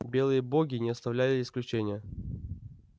белые боги не оставляли исключения